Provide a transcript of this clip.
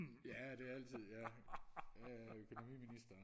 ja det altid ja ja ja økonomiministeren